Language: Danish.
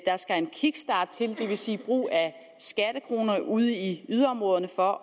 skal en kickstart til det vil sige brug af skattekroner ude i yderområderne for